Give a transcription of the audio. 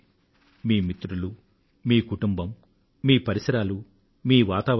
మీ మిత్రులు మీ కుటుంబం మీ పరిసరాలు మీ వాతావరణం